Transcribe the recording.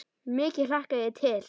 Mikið hlakka ég til.